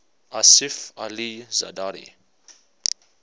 asif ali zardari